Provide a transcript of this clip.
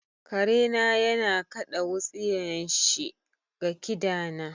Kare na yana kaɗa wutsiyan shi ga kida na.